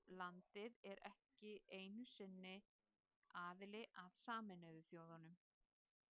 Landið er ekki einu sinni aðili að Sameinuðu þjóðunum.